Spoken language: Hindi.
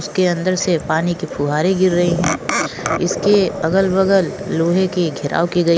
उसके अंदर से पाणी की फुहारे गीर रह है इस के अगल बगल लोहे के घेराव की --